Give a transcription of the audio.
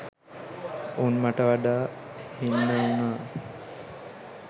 උන් මට වඩා හින්න වුනා